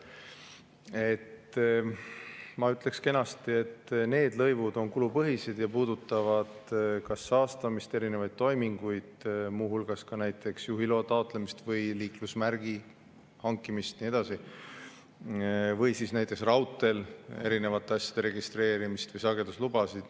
Et ma ütleks kenasti, et need lõivud on kulupõhised ja puudutavad kas saastamist, erinevaid toiminguid, muuhulgas ka näiteks juhiloa taotlemist, liiklusmärgi hankimist ja nii edasi või näiteks raudteel erinevate asjade registreerimist või sageduslubasid.